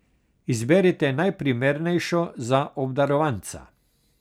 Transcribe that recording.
Izberite najprimernejšo za obdarovanca.